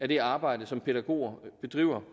det arbejde som pædagoger bedriver